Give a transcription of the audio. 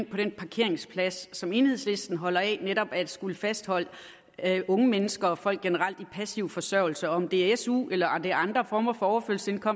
på den parkeringsplads som enhedslisten holder af netop at skulle fastholde unge mennesker og folk generelt i passiv forsørgelse om det er su eller det er andre former for